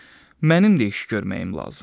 Mənim də iş görməyim lazımdır.